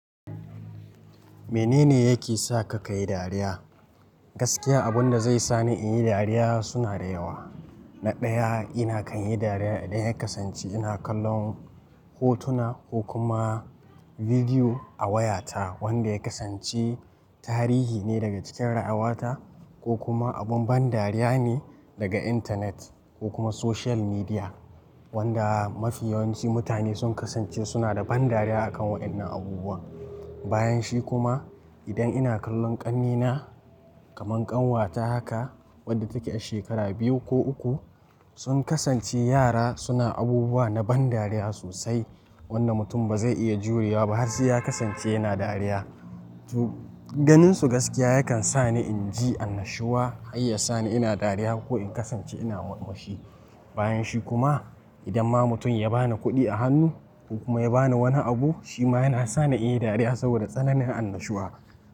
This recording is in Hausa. Menene yake sa ka kai dariya? Gaskiya abunda zai sani in yi dariya suna da yawa. Na ɗaya ina kan yi dariya idan kasance ina kallon hotuna ko kuma bidiyo a wayata wanda ya kasance tarihi ne daga cikin ra'awata ko kuma abun ban dariya ne daga intanet ko kuma social media wanda mafi yawanci mutane sun kasance suna da ban dariya a kan waɗannan abubuwa. Bayanshi kuma idan ina kallon ƙannena kaman ƙanwata haka wadda take a shekara biyu ko uku sun kasance yara suna abubuwa na ban dariya sosai wanda mutum bazai iya juriya ba har sai ya kasance yana dariya. To ganinsu gaskiya yakan sa ni inji annashuwa har ya sa ni ina dariya ko in kasance ina murmushi. Bayanshi kuma idan ma mutum ya bani kuɗi a hannu ko kuma ya bani wani abu shi ma yana sa ni in yi dariya saboda tsananin annashuwa.